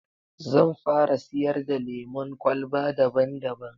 Zan fara siyar da lemon kwalba daban daban